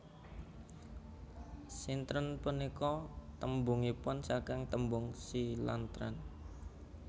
Sintren punika tembungipun saking tembung Si lan tren